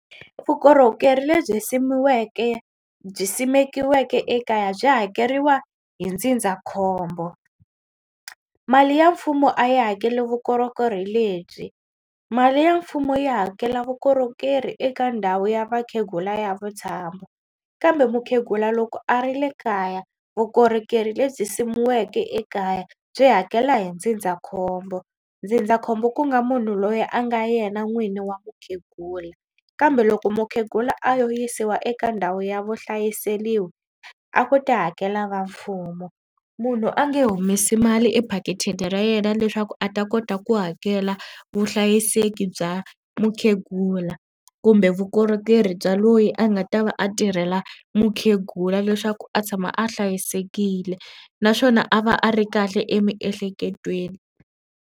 Vukorhokeri lebyi simiweke byi simekiweke ekaya byi hakeriwa hi ndzindzakhombo mali ya mfumo a yi hakeli vukorhokeri lebyi mali ya mfumo yi hakela vukorhokeri eka ndhawu ya vakhegula ya vutshamo kambe mukhegula loko a ri le kaya vukorhokeri lebyi simiweke ekaya byi hakeriwa hi ndzindzakhombo. Ndzindzakhombo ku nga munhu loyi a nga yena n'wini wa mukhegula kambe loko mukhegula a yo yisiwa eka ndhawu ya vuhlayiseliwi a ku ta hakela va mfumo munhu a nge humesi mali ephakithini ra yena leswaku a ta kota ku hakela vuhlayiseki ku bya mukhegula kumbe vukorhokeri bya loyi a nga ta va a tirhela mukhegula leswaku a tshama a hlayisekile naswona a va a ri kahle emiehleketweni.